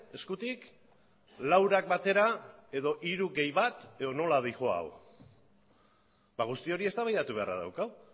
eskutik laurak batera edo hiru gehi bat edo nola doa hau guzti hori eztabaidatu beharra daukagu